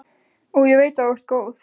Og ég veit að þú ert góð.